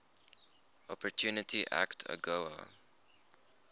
opportunity act agoa